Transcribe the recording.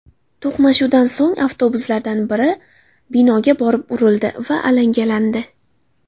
To‘qnashuvdan so‘ng avtobuslardan biri binoga borib urildi va alangalandi.